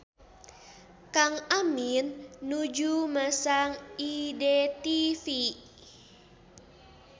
Kang Amin nuju masang IDTV